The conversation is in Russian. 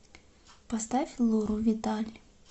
поставь лору виталь